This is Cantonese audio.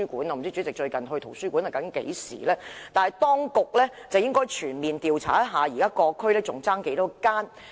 我不知道主席最近一次到圖書館是何時，但當局應該全面調查現時各區尚欠多少間圖書館。